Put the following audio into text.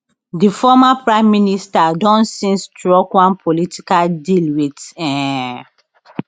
di former prime minister don since struck one political deal wit um